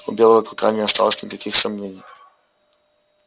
у белого клыка не осталось никаких сомнений